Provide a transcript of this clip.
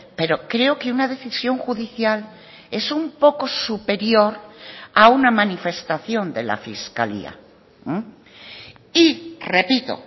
pero creo que una decisión judicial es un poco superior a una manifestación de la fiscalía y repito